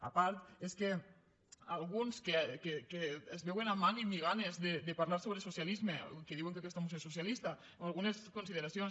a part és que alguns que es veuen amb ànim i ganes de parlar sobre socialisme que diuen que aquesta moció és socialista algunes consideracions